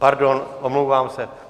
Pardon, omlouvám se.